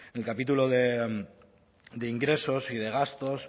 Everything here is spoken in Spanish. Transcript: el capítulo de ingresos y de gastos